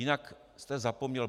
Jinak jste zapomněl.